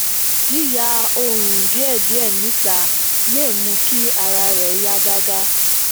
yiya oorun diẹdiẹ nita lè mú kí ara rẹ yá gágá